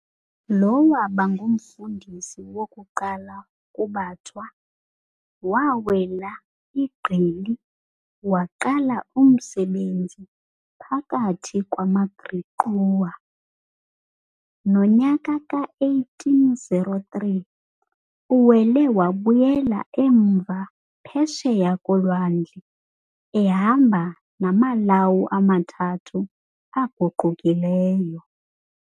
Lo waaba ngumfundisi wokuqala kubaThwa, waawela igqili, waqala umsebenzi phakathi kwamaGriqua. Nonyaka ka-1803 uwele wabuyela emva Phesheya koLwandle ehamba namaLawu amathathu aguqukileyo.